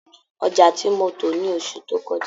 Ọjà tí mo tò ni oṣù tó kọjá